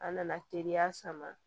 A nana teriya sama